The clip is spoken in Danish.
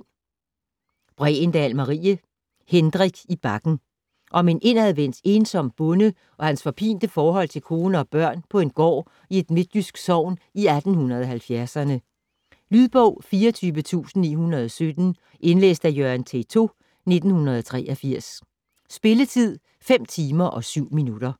Bregendahl, Marie: Hendrik i Bakken Om en indadvendt, ensom bonde og hans forpinte forhold til kone og børn på en gård i et midtjysk sogn i 1870'erne. Lydbog 24917 Indlæst af Jørgen Teytaud, 1983. Spilletid: 5 timer, 7 minutter.